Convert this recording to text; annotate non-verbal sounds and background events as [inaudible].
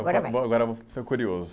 Agora vai, [unintelligible] agora eu vou ser curioso.